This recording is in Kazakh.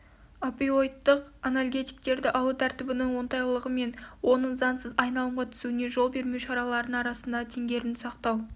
опиоидтық анальгетиктерді алу тәртібінің оңтайлылығы мен оның заңсыз айналымға түсуіне жол бермеу шараларының арасындағы теңгерімді сақтау